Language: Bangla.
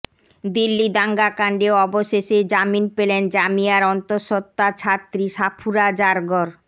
দিল্লি দাঙ্গা কাণ্ডে অবশেষে জামিন পেলেন জামিয়ার অন্তঃসত্ত্বা ছাত্রী সাফুরা জারগর